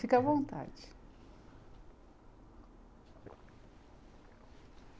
Fica à vontade.